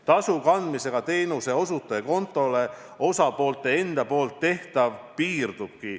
Tasu kandmisega teenuseosutaja kontole osapoolte enda poolt tehtav piirdubki.